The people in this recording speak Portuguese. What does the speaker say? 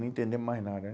não entendemos mais nada né?